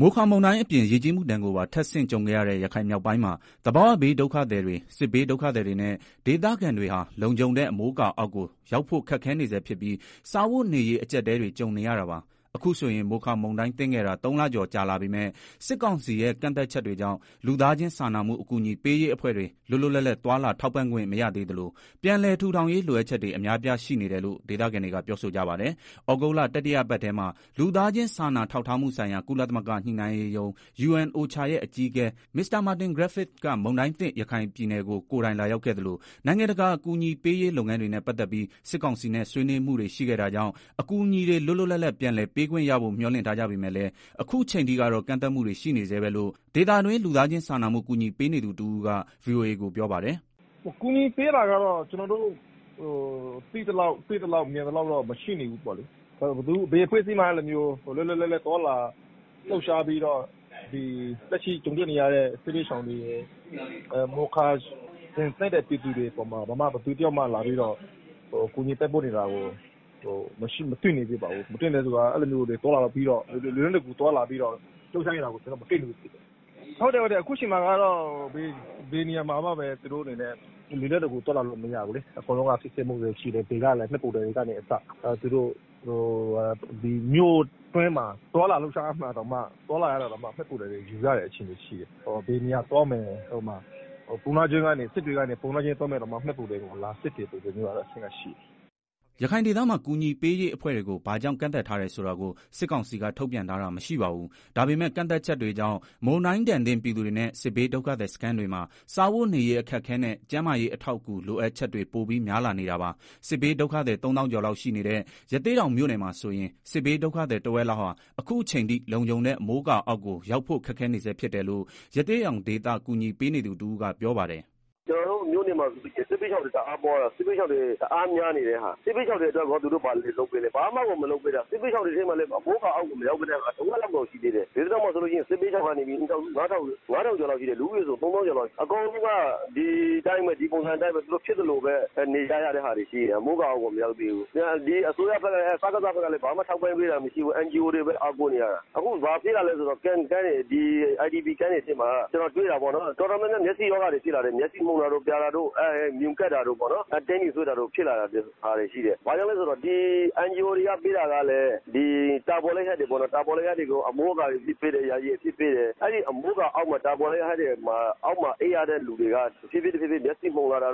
မိုခါမုန်တိုင်းအပြင် ရေကြီးမှု ဒဏ်ကိုပါ ထပ်ဆင့် ကြုံခဲ့ရတဲ့ ရခိုင်မြောက်ပိုင်းမှာ သဘာဝဘေးဒုက္ခသည်တွေ၊ စစ်ဘေးဒုက္ခသည်တွေနဲ့ ဒေသခံတွေဟာ လုံခြုံတဲ့ အမိုးအကာ အောက်ကို ရောက်ဖို့ ခက်ခဲနေဆဲဖြစ်ပြီး စားဝတ်နေရေး အကျပ်အတည်းတွေ ကြုံနေရတာပါ။ အခုဆိုရင် မိုခါမုန်တိုင်း သင့်ခဲ့တာ ၃ လကျော် ကြာလာပေမဲ့ စစ်ကောင်စီရဲ့ ကန့်သတ်ချက်တွေကြောင့် လူသားချင်းစာနာမှု အကူအညီပေးရေးအဖွဲ့တွေ လွတ်လွတ်လပ်လပ် သွားလာ ထောက်ပံ့ခွင့် မရသေးသလို၊ ပြန်လည် ထူထောင်ရေး လိုအပ်ချက်တွေ အများအပြား ရှိနေတယ်လို့ ဒေသခံတွေက ပြောဆိုကြပါတယ်။ သြဂုတ်လ တတိယပတ်ထဲမှာ လူသားချင်း စာနာထောက်ထားမှုဆိုင်ရာ ကုလသမဂ္ဂ ညှိနှိုင်းရေးရုံး အကြီးအကဲ Mr.Martin Griffiths မုန်တိုင်းသင့် ရခိုင်ပြည်နယ်ကို ကိုယ်တိုင် လာရောက်ခဲ့သလို၊ နိုင်ငံတကာ အကူအညီပေးရေး လုပ်ငန်းတွေနဲ့ ပတ်သက်ပြီး စစ်ကောင်စီနဲ့ ဆွေးနွေးမှုတွေ ရှိခဲ့တာကြောင့် အကူအညီတွေ လွတ်လွတ်လပ်လပ် ပြန်လည် ပေးခွင့်ရဖို့ မျှော်လင့်ထားကြပေမဲ့လည်း ခုချိန်ထိကတော့ ကန့်သတ်မှုတွေ ရှိနေဆဲပဲလို့ ဒေသတွင်း လူသားချင်းစာနာမှု ကူညီပေးနေသူ တဦးက ဗွီအိုအေကို ပြောပါတယ်။ “ကူညီပေးတာကတော့ ကျနော်တို့ တွေ့သလောက် မြင်သလောက် သိသလောက် မရှိနေဘူး။ ဘယ်အဖွဲ့အစည်းမှလည်း လွတ်လွတ်လပ်လပ် သွားလာလှုပ်ရှားပြီးတော့ လက်ရှိ ဒုက္ခရောက်နေကြတဲ့ မိုခါသင့်ပြည်သူတွေကို လွတ်လွတ်လပ်လပ် သွားလာပြီးတော့ ကူညီနေတာကို မတွေ့မိဘူး။ အခုအချိန်က ဘယ်နေရာမှာမှ လွယ်လင့်တကူ သွားလာလို့ မရဘူးလေ။ အကုန်လုံးက စစ်ဆေးမှုတွေ ရှိတယ်။ ဘယ်လဲ မှတ်ပုံတင်ကအစ မြို့တွင်းမှာ သွားလာတာတောင် မှတ်ပုံတင်ယူရတဲ့ အခြေအနေ။ ဘယ်ကိုသွားမလဲ။ ပုဏ္ဏားကျွန်းကနေ စစ်တွေကို လာမယ် ဆိုရင်တောင် မှတ်ပုံတင် စစ်တဲ့ အခြေအနေ ရှိတယ်။” ရခိုင်ဒေသမှာ ကူညီပေးရေးအဖွဲ့တွေကို ဘာကြောင့် ကန့်သတ်ထားတယ်ဆိုတာကို စစ်ကောင်စီက ထုတ်ပြန်ထားတာ မရှိပါဘူး။ ဒါပေမဲ့ ကန့်သတ်ချက်တွေကြောင့် မုန်တိုင်းဒဏ်သင့် ပြည်သူတွေနဲ့ စစ်ဘေး ဒုက္ခသည်စခန်းတွေမှာ စားဝတ်နေရေး အခက်အခဲနဲ့ ကျန်းမာရေး အထောက်အကူ လိုအပ်ချက်တွေ ပိုပြီး များလာနေတာပါ။ စစ်ဘေးဒုက္ခသည် ၃ သောင်းကျော်လောက် ရှိနေတဲ့ ရသေ့တောင်မြို့နယ်မှာ ဆိုရင် စစ်ဘေးဒုက္ခသည် တဝက်လောက်ဟာ အခုအချိန်ထိ လုံခြုံတဲ့ အမိုးအကာအောက်ကို ရောက်ဖို့ ခက်ခဲနေဆဲ ဖြစ်တယ်လို့ ရသေ့တောင်ဒေသ ကူညီပေးနေသူ တဦးက ပြောပါတယ်။ “ ကျနော်တို့ မြို့နယ်မှာဆိုလို့ရှိရင် စစ်ဘေးရှောင်တွေ တအားများတာ။ စစ်ဘေးရှောင်တွေ အတွက် သူတို့ ဘာလုပ်ပေးလဲ။ ဘာမှကို မလုပ်ပေးတာ။ စစ်ဘေးရှောင်တွေ ထဲမှာလည်း အမိုးအကာ အောက်ကို မရောက်သေးတဲ့ သူတွေ တဝက်လောက်ကို ရှိသေးတယ်။ ဒီမှာ စစ်ဘေးရှောင် အိမ်ထောင်စု ၅ ထောင်ကျော် လူဦးရေ ၃ သောင်းကျော်လောက် ရှိသေးတယ်။ အကုန်လုံးက ဒီပုံစံအတိုင်းပဲ။ သူတို့ ဖြစ်သလိုပဲ နေကြရတယ်။ အမိုးအကာ အောက်ကို မရောက်သေးဘူး။ စကစ ဘက်ကလည်း ဘာမှ ထောက်ပံ့တာမရှိဘူး။ NGO တွေကိုပဲ အားကိုးနေရတာ။ အခု ဘာဖြစ်လာလဲဆိုတော့ စခန်းတွေထဲမှာ တော်တော်များများ မျက်စိရောဂါတွေ ဖြစ်လာကြတယ်။ မျက်လုံးမှုန်တာတို့ ပြာတို့ မြူကပ်တာတို့ ပေါ့နော်။ ဘာလို့လဲဆိုတော့ NGO တွေက ပေးတာကလဲ တာပေါ်လိပ်တွေပဲပေါ့နော်။ အဲ့ဒီ တာပေါ်လိပ် အမိုးအကာအောက်မှာ နေရ အိပ်ရတော့ တဖြည်းဖြည်း မျက်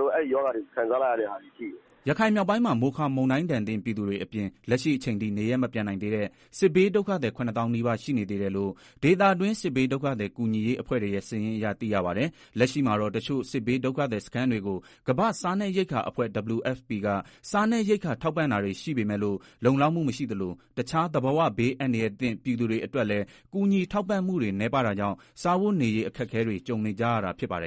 လုံးရောဂါတွေ ခံစားလာရတဲ့ဟာ ရှိတယ်။” ရခိုင်မြောက်ပိုင်းမှာ မိုခါမုန်တိုင်းဒဏ်သင့် ပြည်သူတွေအပြင် လက်ရှိအချိန်ထိ နေရပ်မပြန်နိုင်သေးတဲ့ စစ်ဘေးဒုက္ခသည် ၇ သောင်းနီးပါး ရှိနေသေးတယ်လို့ ဒေသတွင်း စစ်ဘေးဒုက္ခသည် ကူညီရေး အဖွဲ့တွေရဲ့ စာရင်းအရ သိရပါတယ်။ လက်ရှိမှာတော့ တချို့ စစ်ဘေးဒုက္ခသည်စခန်း တွေကို ကမ္ဘာ့စားနပ်ရိက္ခာအဖွဲ့ WFP က စားနပ်ရိက္ခာ ထောက်ပံ့တာတွေ ရှိပေမဲ့လို့ လုံလောက်မှု မရှိသလို တခြား သဘာဝဘေး အန္တရာယ်သင့် ပြည်သူတွေအတွက်လည်း ကူညီထောက်ပံ့မှုတွေ နည်းပါးတာကြောင့် စားဝတ်နေရေး အခက်အခဲတွေ ကြုံနေကြရတာ ဖြစ်ပါတယ်